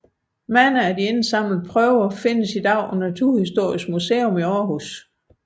Mange af de indsamlede prøver findes i dag på Naturhistorisk Museum i Aarhus